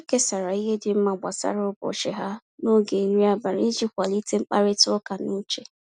Ha kesara ihe dị mma gbasara ụbọchị ha n’oge nri abalị iji kwalite mkparịta ụka n’uche.